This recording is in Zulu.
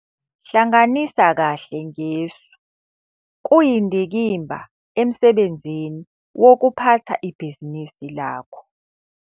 Hlanganisa kahle ngesu - kuyindikimba emsebenzini wokuphatha ibhizinisi lakho